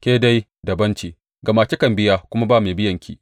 Ke dai dabam ce, gama kikan biya kuma ba mai biyanki.